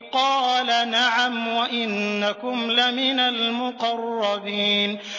قَالَ نَعَمْ وَإِنَّكُمْ لَمِنَ الْمُقَرَّبِينَ